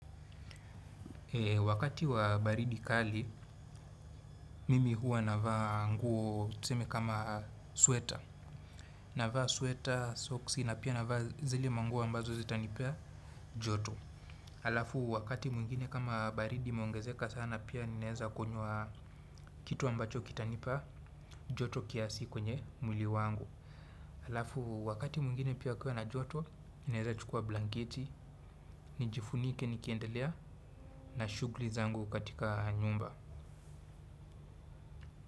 Wakati wa baridi kali, mimi hua navaa nguo tuseme kama sweta. Navaa sweta, soksi na pia navaa zile manguo ambazo zitanipea joto. Alafu wakati mwingine kama baridi imeongezeka sana pia ninaweza kunywa, kitu ambacho kitanipia joto kiasi kwenye mwili wangu. Alafu wakati mwingine pia kukiwa na joto, ninaeza chukua blangeti, nijifunike nikiendelea na shughuli zangu katika nyumba.